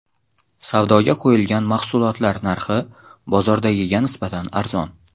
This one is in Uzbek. Savdoga qo‘yilgan mahsulotlar narxi bozordagiga nisbatan arzon.